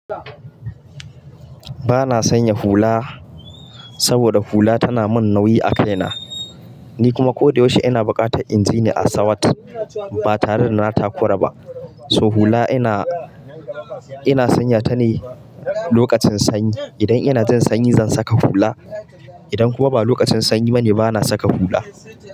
Ba na sanya hula saboda hula tana mun nauyi a kai na. Ni kuma ko da yaushe ina buƙatan inji ni a sawat ba tare da na takura ba. So hula ina, ina sanya ta ne lokacin sanyi. Idan ina jin sanyi zan saka hula. Idan kuwa ba lokacin sanyi bane bana saka hula.